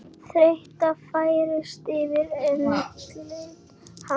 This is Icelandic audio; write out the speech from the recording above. Þreyta færist yfir andlit hans.